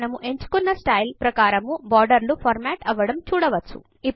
మనము ఎంచుకున్న స్టైల్ ప్రకారము బోర్డర్ లు ఫార్మాట్ అవ్వడము చూడవచ్చు